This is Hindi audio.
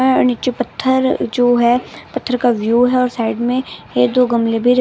हं नीचे पत्थर जो है पत्थर का व्यूव है उसे साइड में एक दो गमले भी--